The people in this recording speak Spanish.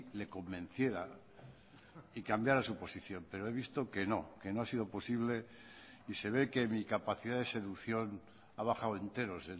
le convenciera y cambiara su posición pero he visto que no que no ha sido posible y se ve que mi capacidad de seducción ha bajado enteros